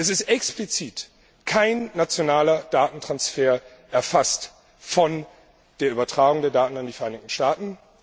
Es ist explizit kein nationaler Datentransfer erfasst von der Übertragung der Daten an die Vereinigten Staaten.